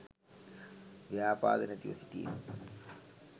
ව්‍යාපාද නැතිව සිටීම